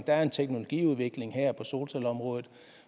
er en teknologiudvikling her på solcelleområdet